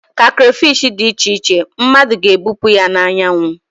ka crayfish dị iche iche, mmadụ ga-ebupụ ya na anyanwụ